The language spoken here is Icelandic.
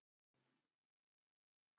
En gengur alveg vonum framar.